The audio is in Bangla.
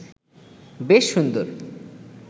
বেশ সুন্দর